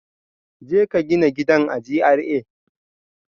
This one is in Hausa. Jeka gina gidan a GRA